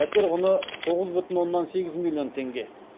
пәтер құны тоғыз бүтін оннан сегіз миллион теңге